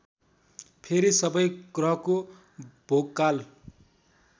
फेरि सबै ग्रहको भोगकाल